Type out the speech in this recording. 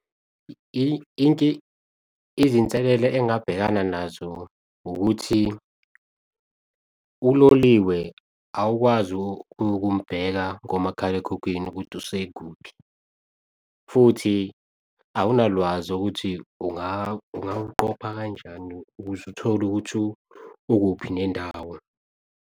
Izinselela engabhekana nazo ukuthi, uloliwe awukwazi ukumubheka komakhalekhukhwini ukuthi usekuphi futhi awunalwazi ukuthi ungaw'qopha kanjani ukuze uthole ukuthi ukuphi nendawo.